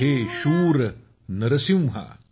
हे शूर नरसिंहा